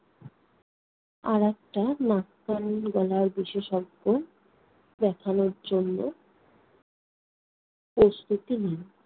আর একটা নাক-কান-গলার বিশেষজ্ঞ দেখানোর জন্য প্রস্তুতি নিই।